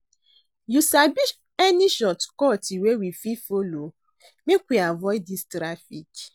You sabi any shortcut wey we fit folo make we avoid dis traffic?